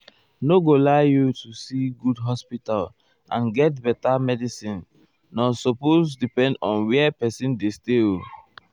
---- i nor go lie you to see good hospital and get beta medicine nor supose depend on where person dey stay o.